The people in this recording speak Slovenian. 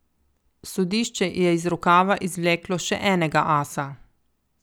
Sodišče je iz rokava izvleklo še enega asa.